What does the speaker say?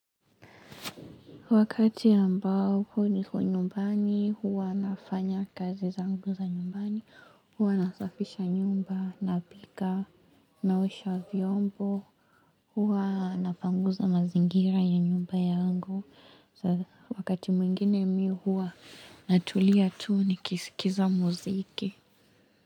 Wakati ambao huo niko nyumbani, huwa nafanya kazi zangu za nyumbani, huwa nasafisha nyumba, napika, naosha vyombo, huwa napanguza mazingira ya nyumba yangu. Wakati mwingine mi huwa natulia tuu nikisikiza mziki.